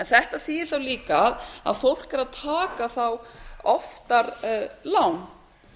þetta þýðir þá líka að fólk er að taka þá oftar lán